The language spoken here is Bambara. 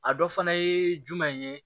A dɔ fana ye jumɛn ye